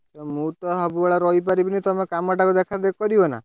ମୁଁ ତ ସବୁବେଳେ ରହିପାରିବିନି ତମେ କାମ ଟାକୁ ଦେଖା ଦେଖି କରିବ ନା?